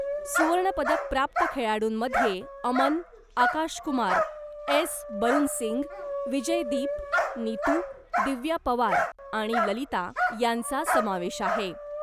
सुवर्णपदक प्राप्त खेळाडूंमध्ये अमन , आकाश कुमार , एस बरुनसिंग , विजयदीप , नितू , दिव्या पवार आणि ललिता यांचा समावेश आहे .